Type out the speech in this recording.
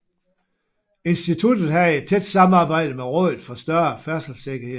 Instituttet havde et tæt samarbejde med Rådet for Større Færdselssikkerhed